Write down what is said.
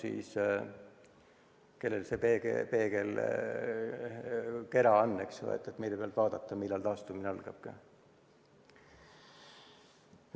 Aga kellel on see võlupeegel, eks ole, mille pealt vaadata, millal taastumine algab?